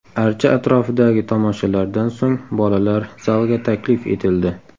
Archa atrofidagi tomoshalardan so‘ng bolalar zalga taklif etildi.